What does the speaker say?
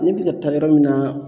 Ne bɛ ka taa yɔrɔ min na